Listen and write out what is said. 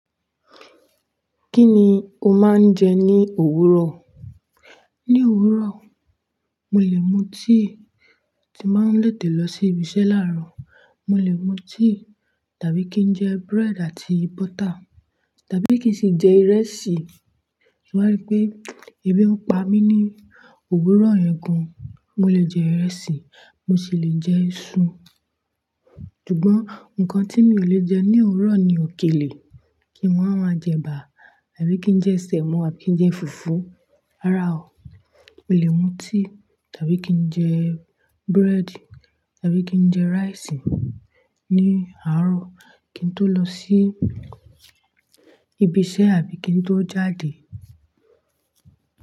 Kí ni o máa ń jẹ ní òwúrọ̀? Ní òwúrọ̀, mo lè mu tíì tí màá ń ba tètè lọ sí ibiṣẹ́ láàárọ̀. Mo lè mu tíì tàbí kí n jẹ bread àti butter, tàbí kí n sì jẹ ìrẹsì. Mo wa ri pé ebi ń pa mí ní òwúrọ̀ yẹn gan. Mo lè jẹ ìrẹsì, mo sì lè jẹ iṣu. Ṣùgbọ́n nǹkan tí mi ò lè jẹ ní òwúrọ̀ ni òkèlè. Kí n wá máa jẹ ẹ̀bà àbí kí n jẹ sẹ̀mọ́ àbí kí n jẹ fùfú. Rárá o, mo lè mu tíì tàbí kí n jẹ bread tàbí kí n jẹ rice ní àárọ̀ kí n tó lọ sí ibiṣẹ́ àbí kí n tó jáde.